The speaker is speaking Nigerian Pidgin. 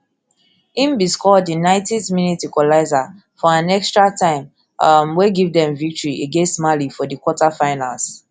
im bin score di ninetyth minute equaliser for an extratime um wey give wey give dem victory against mali for di quarterfinals